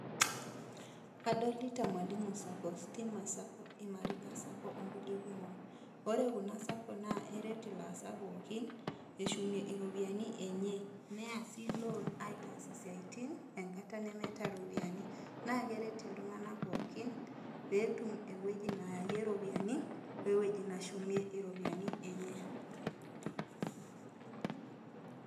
Adolita mwalimu Sacco, stima Sacco, imarika Sacco ongukue kumok ore kuna sako naa eret ilaasak pookin eshumie iropiyiani enye nea sii loons aitaasie isiatin enkata nemeeta eropiyiani naa keret iltunganak pookin pee etum ewoji neyayie iropiyiani, wewoji neshumie iropiyiani enye.